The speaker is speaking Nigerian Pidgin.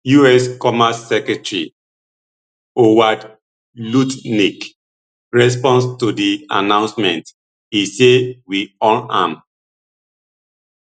us commerce secretary howard lutnick respond to di announcement e say we on am